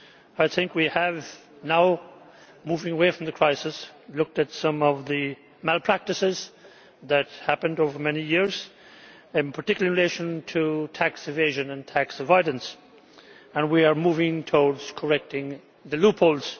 I think we have now moving away from the crisis looked at some of the malpractices that went on over many years, in particular in relation to tax evasion and tax avoidance, and we are moving towards correcting the loopholes.